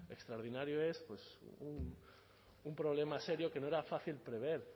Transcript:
extraordinario es pues un problema serio que no era fácil prever